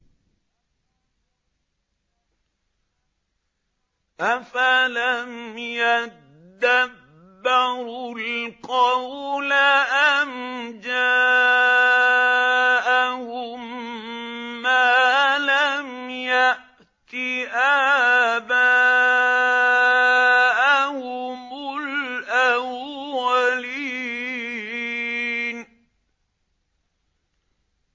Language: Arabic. أَفَلَمْ يَدَّبَّرُوا الْقَوْلَ أَمْ جَاءَهُم مَّا لَمْ يَأْتِ آبَاءَهُمُ الْأَوَّلِينَ